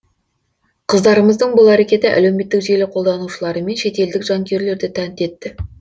қыздарымыздың бұл әрекеті әлеуметтік желі қолданушылары мен шетелдік жанкүйерлерді тәнті етті